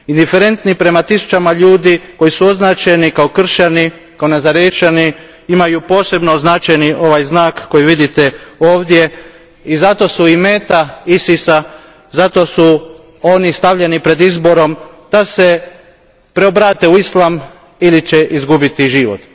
Indiferentni prema tisućama ljudi koji su označeni kao kršćani, kao nazarećani imaju posebno označen ovaj znak koji vidite ovdje i zato su i meta ISIS a, zato su oni stavljeni pred izbor da se preobrate na islam ili će izgubiti život.